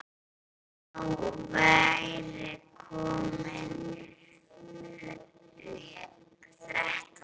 Þá væri komin þrenna.